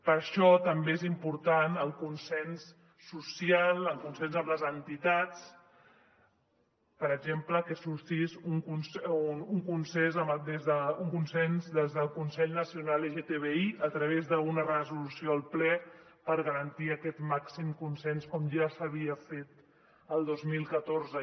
per això també és important el consens social el consens amb les entitats per exemple que sorgís un consens des del consell nacional lgtbi a través d’una resolució al ple per garantir aquest màxim consens com ja s’havia fet el dos mil catorze